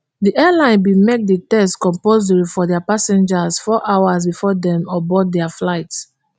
di airline bin make di test compulsory for dia passengers four hours before dem board dia flights